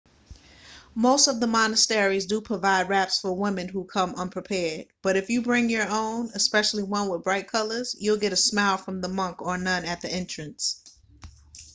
most of the monasteries do provide wraps for women who come unprepared but if you bring your own especially one with bright colors you'll get a smile from the monk or nun at the entrance